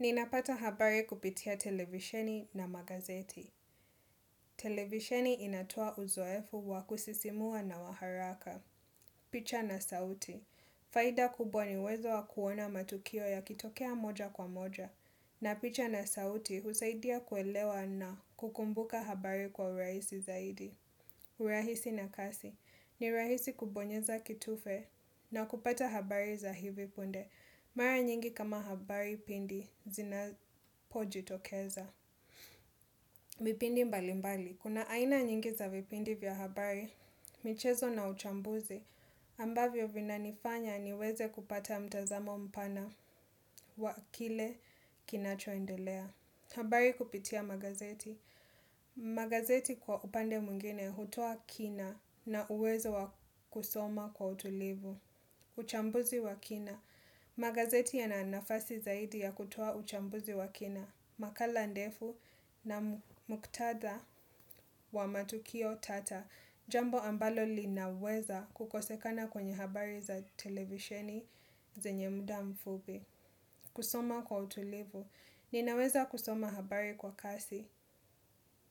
Ninapata habari kupitia televisheni na magazeti. Televisheni inatoa uzoefu wa kusisimua na wa haraka. Picha na sauti. Faida kubwa ni uwezo wa kuona matukio yakitokea moja kwa moja. Na picha na sauti husaidia kuelewa na kukumbuka habari kwa urahisi zaidi. Urahisi na kasi. Ni rahisi kubonyeza kitufe na kupata habari za hivi punde. Mara nyingi kama habari punde zinapojitokeza vipindi mbali mbali kuna aina nyingi za vipindi vya habari. Michezo na uchambuzi. Ambavyo vina nifanya niweze kupata mtazamo mpana wa kile kinacho endelea. Habari kupitia magazeti. Magazeti kwa upande mwingine hutoa kina na uwezo wa kusoma kwa utulivu. Uchambuzi wa kina. Magazeti yana nafasi zaidi ya kutoa uchambuzi wa kina. Makala ndefu na muktadha wa matukio tata jambo ambalo linaweza kukosekana kwenye habari za televisheni zenye muda mfupi kusoma kwa utulivu ninaweza kusoma habari kwa kasi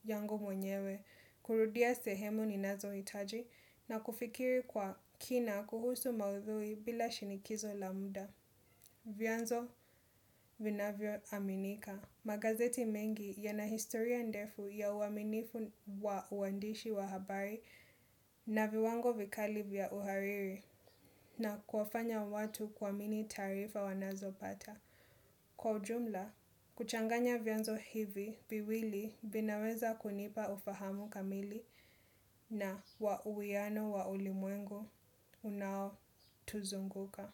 yangu mwenyewe kurudia sehemu ninazo hitaji na kufikiri kwa kina kuhusu maudhui bila shinikizo la muda. Vyanzo vinavyo aminika, magazeti mengi yana historia ndefu ya uaminifu wa uandishi wa habari na viwango vikali vya uhariri na kuwafanya watu kuamini taarifa wanazo pata. Kwa ujumla, kuchanganya vyanzo hivi viwili vinaweza kunipa ufahamu kamili na wa uwiano wa ulimwengu unao tu zunguka.